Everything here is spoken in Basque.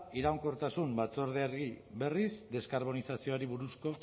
iraunkortasun batzordeari berriz deskarbonizazioari buruzko